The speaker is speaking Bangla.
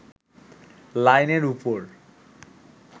লাইনের উপর